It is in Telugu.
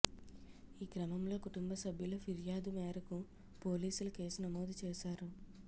ఈ క్రమంలో కుటుంబ సభ్యుల ఫిర్యాదు మేరకు పోలీసులు కేసు నమోదు చేశారు